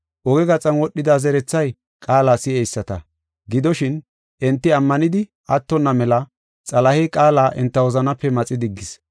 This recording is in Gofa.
Oge gaxan wodhida zerethay qaala si7eyisata. Gidoshin, enti ammanidi attonna mela Xalahey qaala enta wozanaape maxi diggees.